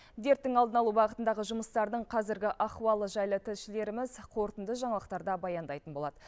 дерттің алдын алу бағытындағы жұмыстардың қазіргі ахуалы жайлы тілшілеріміз қорытынды жаңалықтарда баяндайтын болады